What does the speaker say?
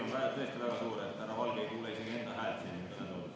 Sumin on tõesti praegu väga suur, nii et härra Valge ei kuule isegi enda häält siin kõnetoolis.